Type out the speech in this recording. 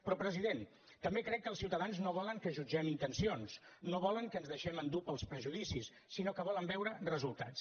però president també crec que els ciutadans no volen que jutgem intencions no volen que ens deixem endur pels prejudicis sinó que volen veure resultats